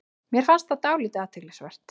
Mér fannst það dálítið athyglisvert